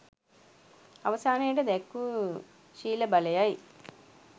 අවසානයට දැක් වූ ශීල බලයයි.